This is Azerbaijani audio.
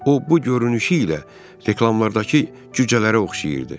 O bu görünüşü ilə reklamlardakı cücələrə oxşayırdı.